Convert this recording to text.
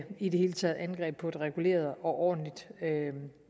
i det hele taget angreb på et reguleret og ordentligt